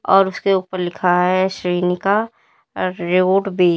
और उसके ऊपर लिखा है श्रीनिका रोड वे ।